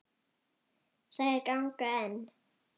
Þær ganga enn.